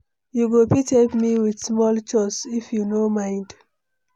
You go fit help me with small chores if you no mind?